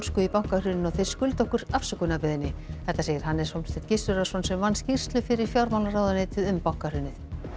í bankahruninu og þeir skulda okkur afsökunarbeiðni þetta segir Hannes Hólmsteinn Gissurarson sem vann skýrslu fyrir fjármálaráðuneytið um bankahrunið